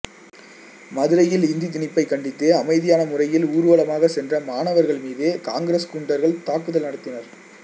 மதுரையில் இந்தி திணிப்பை கண்டித்து அமைதியான முறையில் ஊர்வலமாகச் சென்ற மாணவர்கள்மீது காங்கிரஸ் குண்டர்கள் தாக்குதல் நடத்தினர்